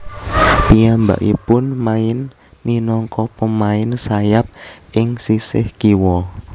Piyambakipun main minangka pemain sayap ing sisih kiwa